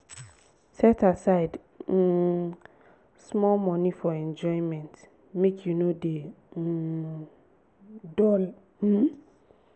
set aside um small moni for enjoyment make you no dey um dull. um